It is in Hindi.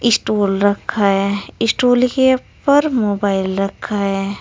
स्टूल रखा है स्टूल के ऊपर मोबाइल रखा है।